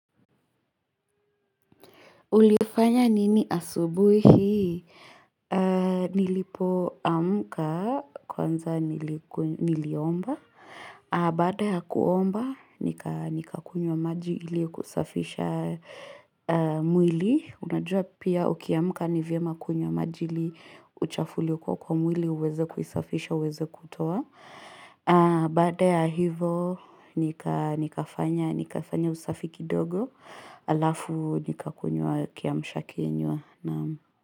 Ulifanya nini asubuhi hii? Nilipo amka kwanza niliomba. Baada ya kuomba, nikaa nika kunywa maji ili kusafisha mwili. Unajua pia uki amka ni vyema kunywa maji ili uchafu uliokuwa kwa mwili, uweze kuisafisha, uweze kuitoa. Baada ya hivo, nika nikafanya usafi kidogo. Alafu nika kunywa kiamsha kinywa.